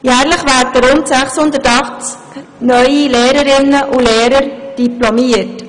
Jährlich werden rund 680 neue Lehrerinnen und Lehrer diplomiert.